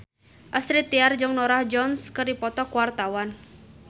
Astrid Tiar jeung Norah Jones keur dipoto ku wartawan